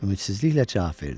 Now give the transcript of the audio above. ümidsizliklə cavab verdi.